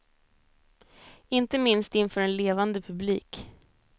Inte minst inför en levande publik.